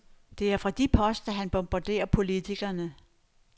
Det er fra de poster, han bombarderer politikerne.